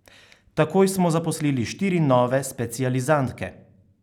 Takoj smo zaposlili štiri nove specializantke.